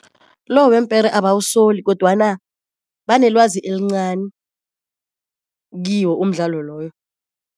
Lo weempere abawusoli kodwana banelwazi elincani kiwo umdlalo loyo.